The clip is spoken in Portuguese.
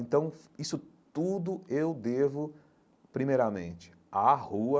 Então, isso tudo eu devo primeiramente à rua,